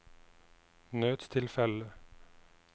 nødstilfelle